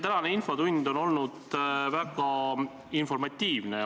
Tänane infotund on olnud väga informatiivne.